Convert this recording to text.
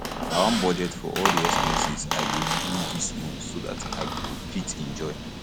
i wan budget for all the expenses i go do dis month so dat i go fit enjoy